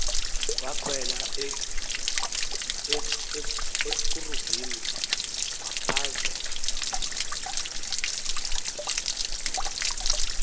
wakhwela ekerubini waphphazela